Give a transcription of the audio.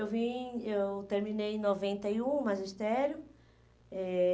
Eu vim, eu terminei em noventa e um o magistério. Eh